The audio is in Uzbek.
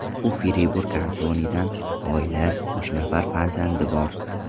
U Fribur kantonidan, oilali, uch nafar farzandi bor.